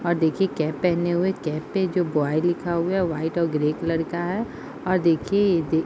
और देखिये कैप पेहने हुए | कैप पे जो बॉय लिखा हुआ है वाइट और ग्रे कलर का है और देखिये --